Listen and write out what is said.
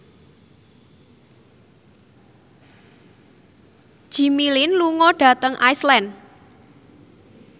Jimmy Lin lunga dhateng Iceland